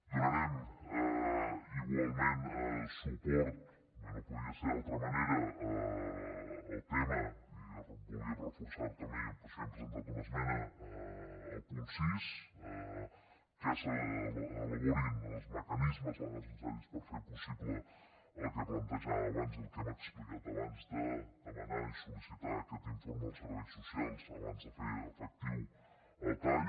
donarem igualment suport com no podia ser d’una altra manera al tema i volíem reforçar ho també i per això hem presentat una esmena del punt sis que s’elaborin els mecanismes legals i necessaris per fer possible el que plantejàvem abans i el que hem explicat abans de demanar i sol·licitar aquest informe als serveis socials abans de fer efectiu el tall